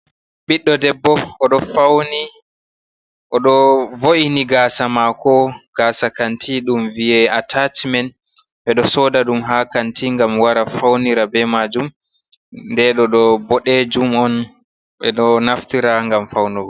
Ɓiɗɗo debbo oɗo vo’ini gasa mako, gasa kanti ɗum viye atachmen ɓeɗo soda ɗum ha kanti ngam wara faunira be majum nden ɗoɗo ɓodejum on beɗo naftira ngam faunugo.